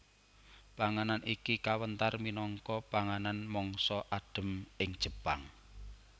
Panganan iki kawentar minangka panganan mangsa adhem ing Jepang